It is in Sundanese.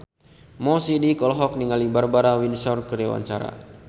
Mo Sidik olohok ningali Barbara Windsor keur diwawancara